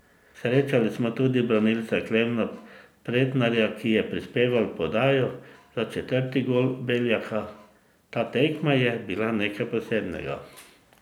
Srečali smo tudi branilca Klemna Pretnarja, ki je prispeval podajo za četrti gol Beljaka: 'Ta tekma je bila nekaj posebnega.